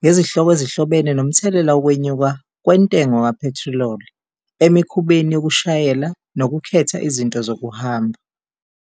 ngezihloko ezihlobene nomthelela wokwenyuka kwentengo kaphethiloli, emikhubeni yokushayela nokukhetha izinto zokuhamba.